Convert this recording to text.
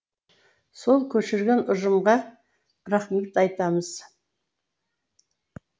сол көшірген ұжымға рахмет айтамыз